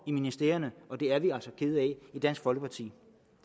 i ministerierne og det er vi altså kede af i dansk folkeparti